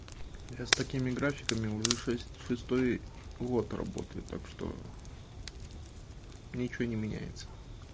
я с такими графиками уже шесть шестой год работаю так что ничего не меняется